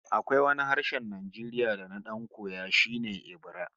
Akwai wani harshen Najeriya da na dan koya kadan, shi ne Ebira